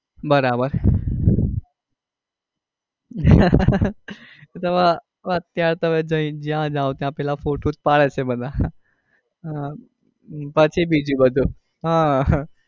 બરાબર અત્યારે તો હવે જ્યાં જાઓ ત્યાં પેલા ફોટો જ પડે છે બધા હમ પછી બીજું બધું.